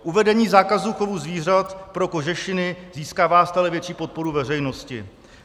Uvedení zákazu chovu zvířat pro kožešiny získává stále větší podporu veřejnosti.